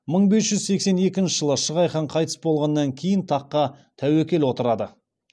мың бес жүз секскенінші жылы шығай хан қайтыс болғаннан кейін таққа тәуекел отырды